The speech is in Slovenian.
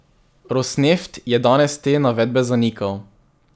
Rosneft je danes te navedbe zanikal.